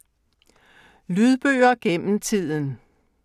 Lydbøger gennem tiden